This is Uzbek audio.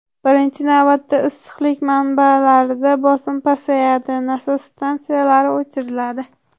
Birinchi navbatda, issiqlik manbalarida bosim pasayadi, nasos stansiyalari o‘chiriladi.